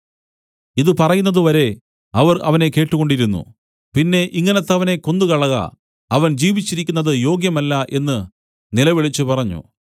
ഇതു പറയുന്നതുവരെ അവർ അവനെ കേട്ടുകൊണ്ടിരുന്നു പിന്നെ ഇങ്ങനത്തവനെ കൊന്നുകളക അവൻ ജീവിച്ചിരിക്കുന്നത് യോഗ്യമല്ല എന്ന് നിലവിളിച്ചുപറഞ്ഞു